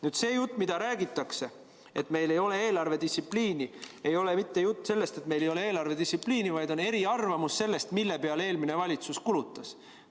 Nüüd see jutt, mida räägitakse, et meil ei ole eelarvedistsipliini, ei ole mitte jutt sellest, et meil ei ole eelarvedistsipliini, vaid on eriarvamus sellest, mille peale eelmine valitsus kulutas.